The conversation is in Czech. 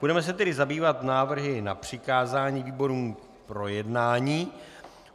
Budeme se tedy zabývat návrhy na přikázání výborům k projednání.